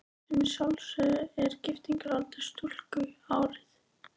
Sem að sjálfsögðu er giftingaraldur stúlku árið